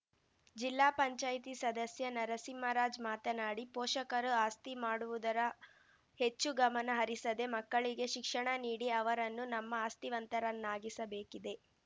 ಜಿಲ್ಲಾ ಪಂಚಾಯ್ತಿ ಸದಸ್ಯ ನರಸಿಂಹರಾಜ್‌ ಮಾತನಾಡಿ ಪೋಷಕರು ಆಸ್ತಿ ಮಾಡುವುದರ ಹೆಚ್ಚು ಗಮನ ಹರಿಸದೇ ಮಕ್ಕಳಿಗೆ ಶಿಕ್ಷಣ ನೀಡಿ ಅವರನ್ನು ನಮ್ಮ ಆಸ್ತಿವಂತರನ್ನಾಗಿಸಬೇಕಿದೆ